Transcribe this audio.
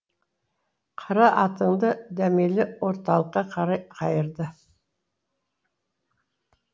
қара атанды дәмелі орталыққа қарай қайырды